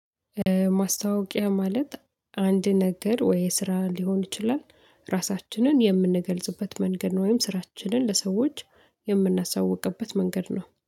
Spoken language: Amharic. ማስታወቂያ ማለት አንድ ነገር ወይ ስራ ሊሆን ይችላል ራሳችንን የምንገልጽበት መንገድ ወይም ስራችንን ለሰዎች የምናሳውቅበት መንገድ ነው